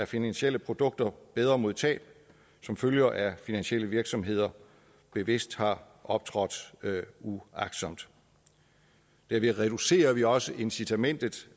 finansielle produkter bedre mod tab som følger af at finansielle virksomheder bevidst har optrådt uagtsomt derved reducerer vi også incitamentet